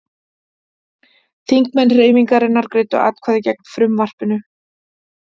Þingmenn Hreyfingarinnar greiddu atkvæði gegn frumvarpinu